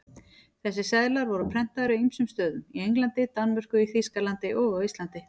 Þessir seðlar voru prentaðir á ýmsum stöðum, í Englandi, Danmörku, Þýskalandi og á Íslandi.